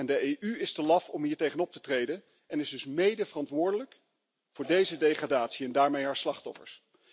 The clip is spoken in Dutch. De EU is te laf om hiertegen op te treden en is dus medeverantwoordelijk voor deze degradatie en daarmee haar slachtoffers.